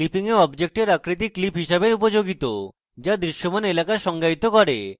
clipping a অবজেক্টের আকৃতি clip হিসাবে উপযোগিত যা দৃশ্যমান এলাকা সংজ্ঞায়িত করে